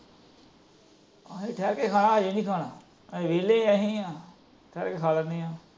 ਅਸੀਂ ਠਹਿਰ ਕੇ ਖਾਣਾ, ਹਜੇ ਨਹੀਂ ਖਾਣਾ। ਅਸੀਂ ਵੇਹਲੇ ਅਸੀਂ ਹਾਂ, ਠਹਿਰ ਕੇ ਖਾ ਲੈਣੇ ਆ।